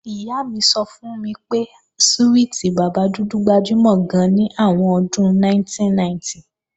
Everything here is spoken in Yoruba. Ìyá mi sọ fún mi pé súwìtì bàbá dúdú gbajúmọ̀ gan ní àwọn ọdún 1990